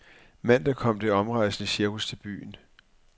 Mandag kom det omrejsende cirkus til byen.